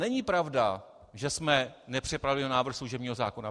Není pravda, že jsme nepřipravili návrh služebního zákona.